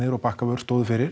og Bakkavör stóðu fyrir